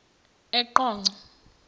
eqonco